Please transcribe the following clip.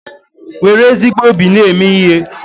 Nwere ezigbo obi na-eme ihe